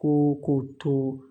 Ko k'o to